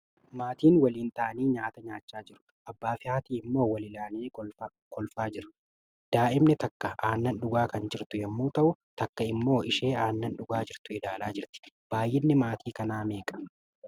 Maatiin waliin ta'anii nyaata nyaachaa jiru. Abbaa fi haati immoo wal ilaalanii kolfaa jiru. Daa'imni takka aannan dhugaa kan jirtu yommuu ta'u, takka immoo ishee aannan dhugaa jirtu ilaalaa jirti. Baay'inni maatii kanaa meeqa?